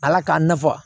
Ala k'a nafa